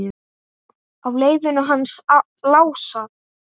Á leiðinu hans Lása?